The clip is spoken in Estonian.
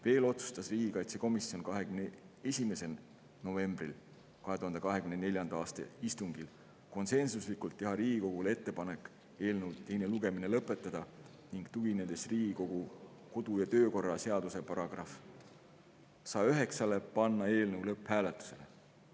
Veel otsustas riigikaitsekomisjon 21. novembri 2024. aasta istungil konsensuslikult teha Riigikogule ettepaneku eelnõu teine lugemine lõpetada, ning tuginedes Riigikogu kodu‑ ja töökorra seaduse §‑le 109, panna eelnõu lõpphääletusele.